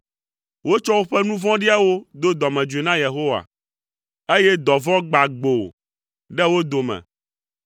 Wotsɔ woƒe nu vɔ̃ɖiawo do dɔmedzoe na Yehowa, eye dɔvɔ̃ gbã gboo ɖe wo dome.